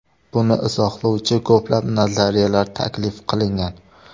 Buni izohlovchi ko‘plab nazariyalar taklif qilingan.